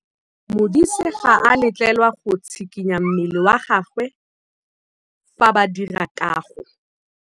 Modise ga a letlelelwa go tshikinya mmele wa gagwe fa ba dira karô.